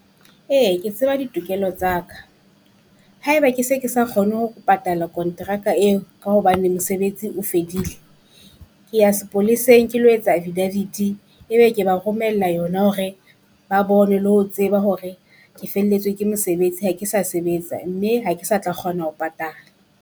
Ee ke tseba ditokelo tsa ka, haeba ke se ke sa kgone ho patala kontraka eo, ka hobane mosebetsi o fedile, ke ya sepoleseng ke lo etsa affidavit-i, ebe ke ba romella yona hore ba bone le ho tseba hore ke felletswe ke mosebetsi ha ke sa sebetsa mme ha ke sa tla kgona ho patala.